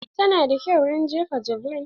Ta na da kyau wurin jefa javeline.